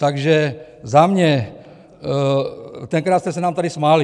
Takže za mě, tenkrát jste se nám tady smáli.